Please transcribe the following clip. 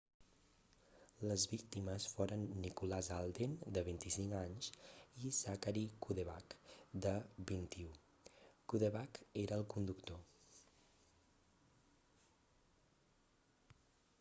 les víctimes foren nicholas alden de 25 anys i zachary cuddeback de 21 cuddeback era el conductor